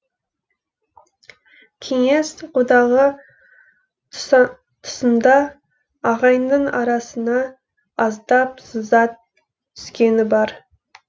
кеңес одағы тұсында ағайынның арасына аздап сызат түскені бар